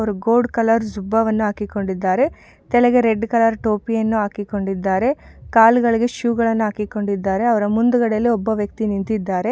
ಅವರು gold colour ಜುಬ್ಬವನ್ನು ಹಾಕಿಕೊಂಡಿದ್ದಾರೆ ತಲೆಗೆ ರೆಡ್ ಕಲರ್ ಟೋಪಿಯನ್ನು ಹಾಕಿಕೊಂಡಿದ್ದಾರೆ ಕಾಲ್ ಗಳಿಗೆ ಶೂಗಳನ್ನು ಹಾಕಿಕೊಂಡಿದ್ದಾರೆ ಅವ್ರ ಮುಂದುಗಡೆಯಲ್ಲಿ ಒಬ್ಬ ವ್ಯಕ್ತಿ ನಿಂತಿದ್ದಾರೆ.